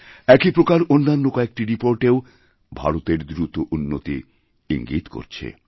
একই প্রকারঅন্যান্য কয়েকটি রিপোর্টেও ভারতের দ্রুত উন্নতি ইঙ্গিত করছে